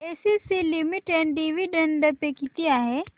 ACC limited dividend pay किती आहे